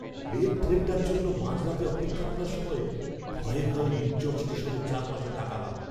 Late ট্রেনটার জন্য মাঝরাতে অপেক্ষা করার সময় ভয়ে ভয়ে নির্জন স্টেশনের চারপাশে তাকালাম।